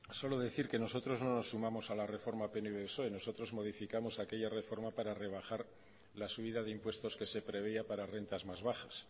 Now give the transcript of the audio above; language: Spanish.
solo decir que nosotros no nos sumamos a la reforma pnv psoe nosotros modificamos aquella reforma para rebajar la subida de impuestos que se preveía para rentas más bajas